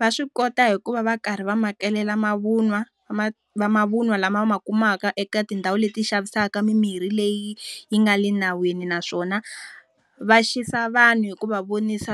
Va swi kota hi ku va va karhi va makelela mavun'wa vamavun'wa lama ma kumaka eka tindhawu leti xavisaka mimirhi leyi yi nga le nawini naswona, va xisa vanhu hikuva vonisa